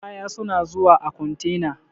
Kaya suna zuwa a kontena.